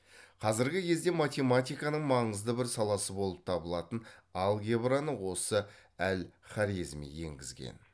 қазіргі кездегі математиканың маңызды бір саласы болып табылатын алгебраны осы әл хорезми енгізген